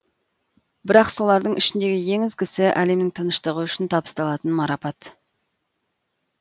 бірақ солардың ішіндегі ең ізгісі әлемнің тыныштығы үшін табысталатын марапат